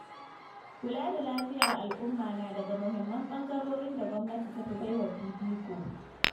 Kula da lafiyar al'umma na daga muhimman ɓangarorin da gwamnati ta fi bai wa fifiko.